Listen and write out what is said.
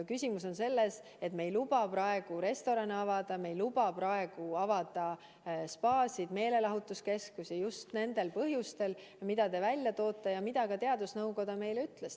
Küsimus on selles, et me ei luba praegu restorane avada, me ei luba praegu avada spaasid ja meelelahutuskeskusi just nendel põhjustel, mis te välja tõite ja mida ka teadusnõukoda meile ütles.